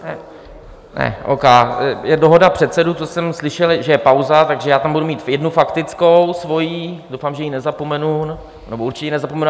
Ne, O. K., je dohoda předsedů, co jsem slyšel, že je pauza, takže já tam budu mít jednu faktickou svoji, doufám, že ji nezapomenu, nebo určitě ji nezapomenu.